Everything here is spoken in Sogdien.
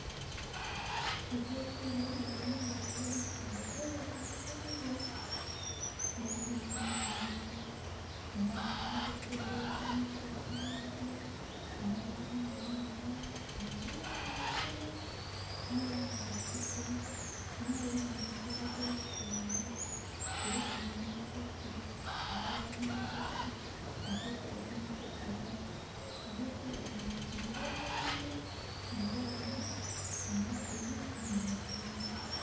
Ebyokulya eby'endhaghulo bitegekeibwa ku lusinhiya. Mu binho mulimu amagi, mwabamu ovakedo abonheka obulungi, mwabamu enhanha obunhanha obutonho, mwabamu obutiko, mwabamu amakoola ag'obutungulu, kuliku nhi nakati aghalala nh'akaso ak'okukozesa mukusala. Ebyokulya binho bizimba omubiri mu baana, mu bakulu nhi mu bakaire.